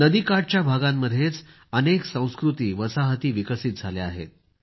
नदीकाठच्या भागांमध्येच अनेक संस्कृती वसाहती विकसित झाल्या आहेत